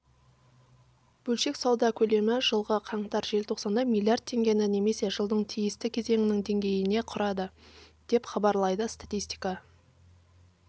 бөлшек сауда көлемі жылғы қаңтар-желтоқсанда млрд теңгені немесе жылдың тиісті кезеңінің деңгейіне құрады деп хабарлайды статистика